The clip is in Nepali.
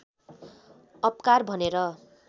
अपकार भनेर